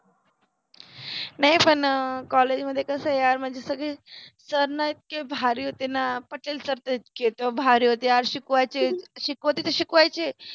नाहि पन अ कॉलेज मधे कस यार मंजे सगळे सर न इतके भारि होते न, पटेल सर त इतके भारि यार शिकवायचे, शिकवते ते शिकवायचे